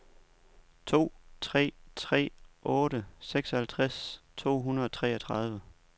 to tre tre otte seksoghalvtreds to hundrede og treogtredive